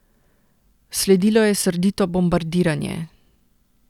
Sledilo je srdito bombardiranje.